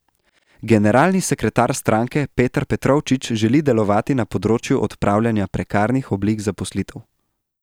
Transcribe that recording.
Generalni sekretar stranke Peter Petrovčič želi delovati na področju odpravljanja prekarnih oblik zaposlitev.